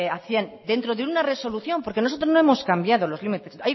hacían dentro de una resolución porque nosotros no hemos cambiado los límites